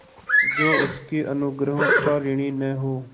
जो उसके अनुग्रहों का ऋणी न हो